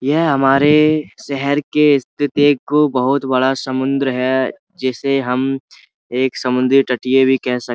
यह हमारे शहर के स्थिति को बहौत बड़ा समुद्र है जिसे हम एक समुद्र तटीय भी कह सक --